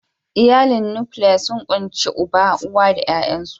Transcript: Iyalin nukiliya sun ƙunshi uba, Uwa da 'ya'yansu.